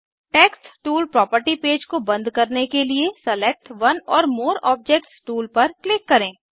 text tool property page को बंद करने के लिए select one or more objects tool पर क्लिक करें